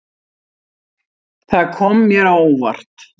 Það kom mér á óvart.